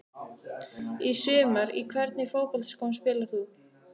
Í sumar Í hvernig fótboltaskóm spilar þú?